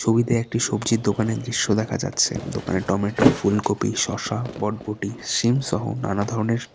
ছবিতে একটি সবজির দোকানের দৃশ্য দেখা যাচ্ছে দোকানে টমেটো ফুলকপি শসা বটবটি শিম সহ নানা ধরনের--